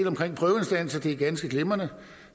om prøveinstanser er ganske glimrende